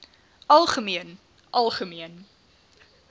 algemeen algemeen